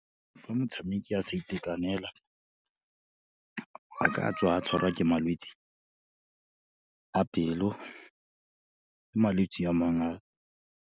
Fa motshameki a sa itekanela, a ka tswa a tshwarwa ke malwetse, a pelo le malwetsi a mang a.